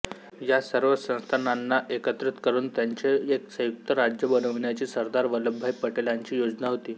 या सर्व संस्थानांना एकत्रित करून त्यांचे एक संयुक्त राज्य बनविण्याची सरदार वल्लभभाई पटेलांची योजना होती